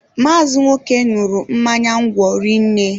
Maazi Nwoke ñuru mmanya ńgwọ rinne